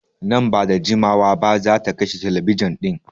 Nan ba da jimawa ba zata kashe telebijin ɗin.